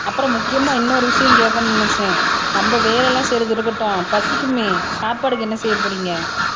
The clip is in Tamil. அப்புறம் முக்கியமா இன்னொரு விஷயம் கேட்கணும்ன்னு நினைச்சேன் நம்ம வேலை எல்லாம் செய்றது இருக்கட்டும் பசிக்குமே சாப்பாடுக்கு என்ன செய்யப் போறீங்க